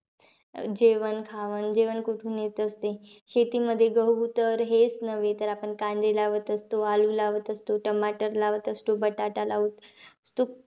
जेवण खावण, जेवण कुठून येत असते? शेतीमध्ये गहू तर हेचं नव्हे. तर आपण कांदे लावत असतो, लावत असतो, टमाटर लावत असतो बटाटा लाव ,